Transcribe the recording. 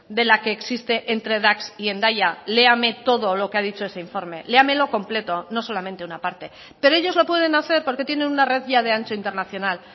de la que existe entre dax y hendaya léame todo lo que ha dicho ese informe léamelo completo no solamente una parte pero ellos lo pueden hacer porque tienen una red ya de ancho internacional